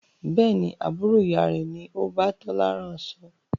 Bẹ́ẹ̀ni, Àbúrò ìyá rẹ ni o bá Tola rán aṣọ.